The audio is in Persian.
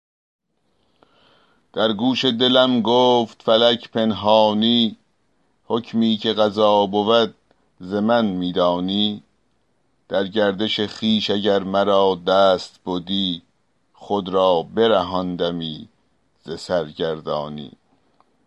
در گوش دلم گفت فلک پنهانی حکمی که قضا بود ز من می دانی در گردش خویش اگر مرا دست بدی خود را برهاندمی ز سرگردانی